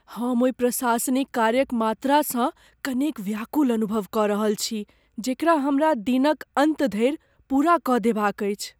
हम ओहि प्रशासनिक कार्यक मात्रासँ कनेक व्याकुल अनुभव कऽ रहल छी जेकरा हमरा दिनक अन्त धरि पूरा कऽ देबाक अछि।